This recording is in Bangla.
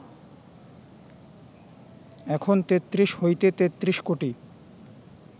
এখন তেত্রিশ হইতে তেত্রিশ কোটি